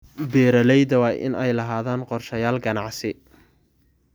Beeralayda waa inay lahaadaan qorshayaal ganacsi.